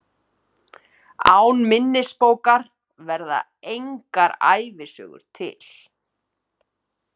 Án minnisbókar verða engar ævisögur til.